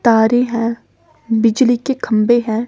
तारे हैं बिजली के खंभे हैं।